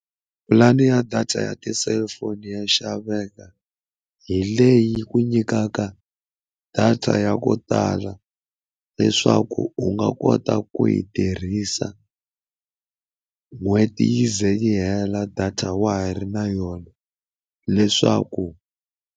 Pulani ya data ya ti-cellphone ya xaveka hi leyi ku nyikaka data ya ko tala leswaku u nga kota ku yi tirhisa n'hweti yi ze yi hela data wa ha ri na yona leswaku.